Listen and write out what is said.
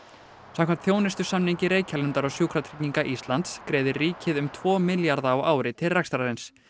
samkvæmt þjónustusamningi Reykjalundar og Sjúkratrygginga Íslands greiðir ríkið um tvo milljarða á ári til rekstrarins